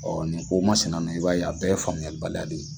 ni ko masinana i b'a ye a bɛɛ faamuyali baliya de ye.